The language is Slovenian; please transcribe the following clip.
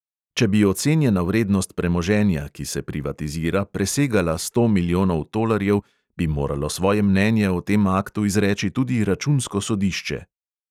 Če bi ocenjena vrednost premoženja, ki se privatizira, presegala sto milijonov tolarjev, bi moralo svoje mnenje o tem aktu izreči tudi računsko sodišče.